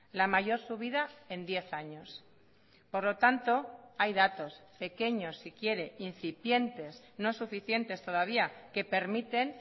la mayor subida en diez años por lo tanto hay datos pequeños si quiere incipientes no suficientes todavía que permiten